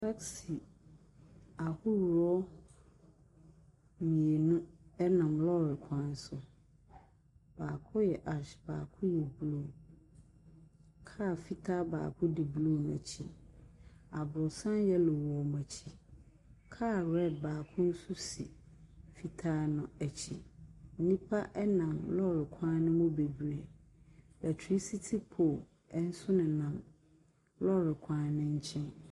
Taxi ahodoɔ mmienu nam lɔɔre kwan so. Baako yɛ ash, baako yɛ blue. Car fitaa baako di wɔn mmienu akyi. Aborosan yellow wɔ wɔn akyi. Car red baako nso si fitaa no akyi. Nnipa nam lɔɔre kwan no mu bebree. Electricity pole nso nenam lɔɔre kwan no nkyɛn.